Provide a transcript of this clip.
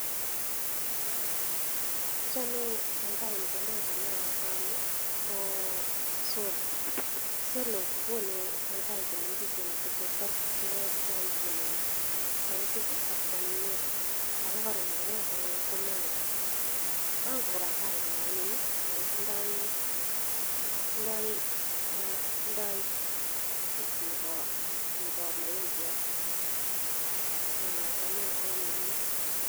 Achame paipai necham acahem aame ko solo ,solo kokonu paipai chemengechen cheachin eng sizit ak kwanyinyen ake kora necham achame ko mango , paipai ne anyiny ako tindoi taste nebo maembiot achame amu anyinyen.